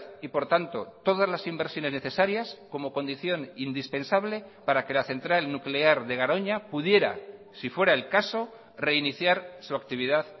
y por tanto todas las inversiones necesarias como condición indispensable para que la central nuclear de garoña pudiera si fuera el caso reiniciar su actividad